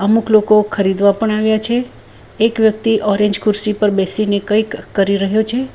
અમુક લોકો ખરીદવા પણ આવ્યા છે એક વ્યક્તિ ઓરેન્જ ખુરશી પર બેસીને કંઈક કરી રહ્યો છે.